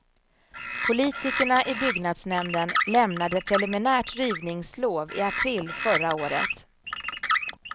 Politikerna i byggnadsnämnden lämnade preliminärt rivningslov i april förra året.